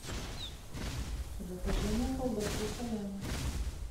закажи мне колбасу салями